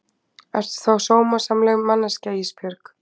Ertu þá sómasamleg manneskja Ísbjörg?